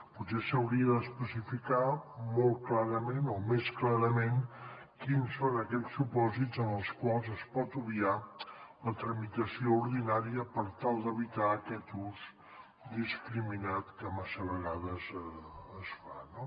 potser s’hauria d’especificar molt clarament o més clarament quins són aquells supòsits en els quals es pot obviar la tramitació ordinària per tal d’evitar aquest ús indiscriminat que massa vegades es fa